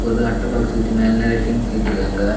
இங்க அட்ட பாக்ஸ் வச்சு மேல நிறைய திங்ஸ் வச்சிருக்காங்க.